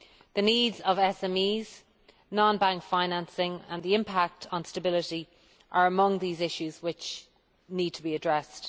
The needs of SMEs, non bank financing, and the impact on stability are among the issues which need to be addressed.